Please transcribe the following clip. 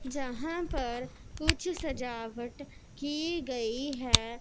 जहां पर कुछ सजावट की गई है।